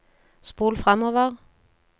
spol framover